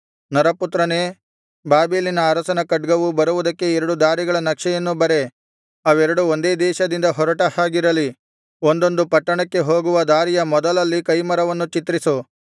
ನರಪುತ್ರನೇ ಬಾಬೆಲಿನ ಅರಸನ ಖಡ್ಗವು ಬರುವುದಕ್ಕೆ ಎರಡು ದಾರಿಗಳ ನಕ್ಷೆಯನ್ನು ಬರೆ ಅವೆರಡು ಒಂದೇ ದೇಶದಿಂದ ಹೊರಟ ಹಾಗಿರಲಿ ಒಂದೊಂದು ಪಟ್ಟಣಕ್ಕೆ ಹೋಗುವ ದಾರಿಯ ಮೊದಲಲ್ಲಿ ಕೈಮರವನ್ನು ಚಿತ್ರಿಸು